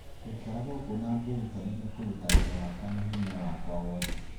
"Ngũikara gũkũ na ngũĩrutanĩria kũruta wĩra wakwa na hinya wakwa wothe".